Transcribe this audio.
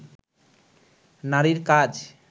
নারীর কাজ